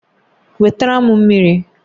Wetara m mmiri!